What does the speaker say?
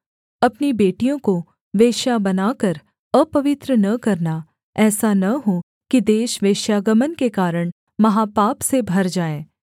अपनी बेटियों को वेश्या बनाकर अपवित्र न करना ऐसा न हो कि देश वेश्‍यागमन के कारण महापाप से भर जाए